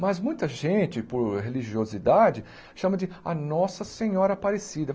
Mas muita gente, por religiosidade, chama de a Nossa Senhora Aparecida.